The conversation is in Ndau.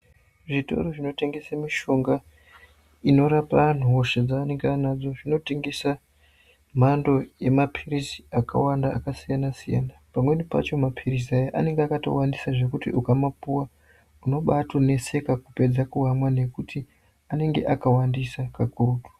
Zvitoro zvinotengese mishonga inorapa vantu hosha dzavenenge vanadzo zvinotengesa mhando yemapirizi akawanda akasiyana siyana pamweni pacho mapirizi aya anenge akawandisa zvekuti ukamapuwa unobatoneseka kupedza kuamwa nekuti anenge akawandisa kakurutu.